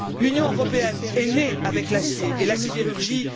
L'Union européenne est née avec l'acier et la sidérurgie.